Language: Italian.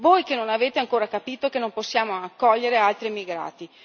Voi che non avete ancora capito che non possiamo accogliere altri immigrati.